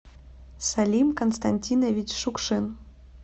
салим константинович шукшин